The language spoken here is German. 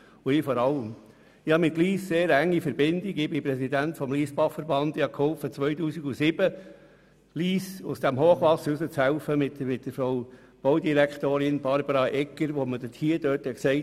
Ich habe mit Lyss sehr enge Verbindungen, ich bin Präsident des Lyssbachverbandes und habe 2007 zusammen mit der Baudirektorin Barbara Egger mitgeholfen, Lyss aus dem Hochwasser herauszuführen.